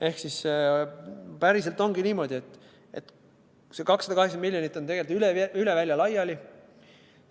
Ehk päriselt ongi niimoodi, et see 280 miljonit on üle välja laiali.